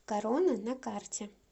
корона на карте